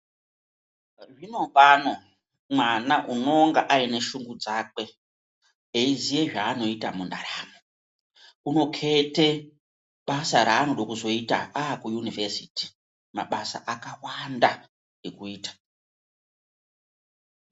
Nazvino pano mwana unenge aneshungu dzakwe, eiziye zvaanoita mundaramo, unokete basa reanode kuzoite akuyunivhesiti, mabasa akawanda ekuita.